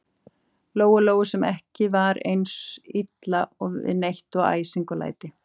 Lóu-Lóu, sem var ekki eins illa við neitt og æsing og læti.